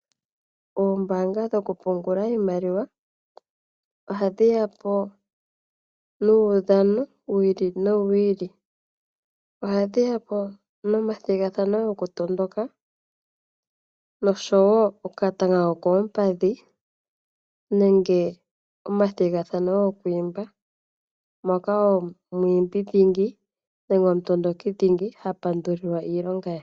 Oombaanga dhokupungula iimaliwa oha dhi ya po nuudhano wi ili no wi ili. Oha dhi ya po nomathigathano goku tondoka nosho wo okatanga kokoompadhi nenge omathigathano gokwiimba, moka omwiimbi dhingi nenge omutondoki dhingi ha pandulilwa iilonga ye